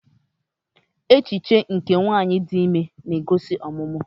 Echiche nke nwanyị dị ime na-egosi ọmụmụ.